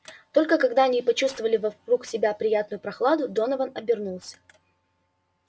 только когда они почувствовали вокруг себя приятную прохладу донован обернулся